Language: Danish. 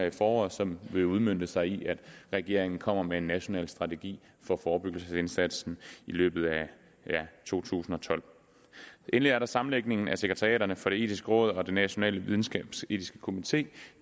i foråret som vil udmønte sig i at regeringen kommer med en national strategi for forebyggelsesindsatsen i løbet af to tusind og tolv endelig er der sammenlægningen af sekretariaterne for det etiske råd og den nationale videnskabsetiske komité